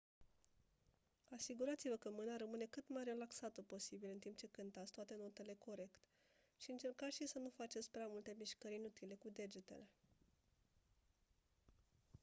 asigurați-vă că mâna rămâne cât mai relaxată posibil în timp ce cântați toate notele corect și încercați și să nu faceți prea multe mișcări inutile cu degetele